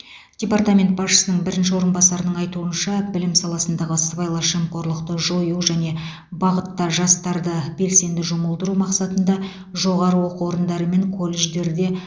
департамент басшысының бірінші орынбасарының айтуынша білім саласындағы сыбайлас жемқорлықты жою және бағытта жастарды белсенді жұмылдыру мақсатында жоғары оқу орындары мен колледждерде